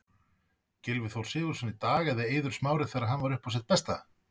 Gylfi Þór Sigurðsson í dag, eða Eiður Smári þegar hann var uppá sitt besta?